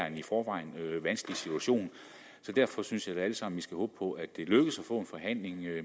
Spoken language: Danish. en i forvejen vanskelig situation så derfor synes jeg vi alle sammen skal håbe på at det lykkes at få en forhandling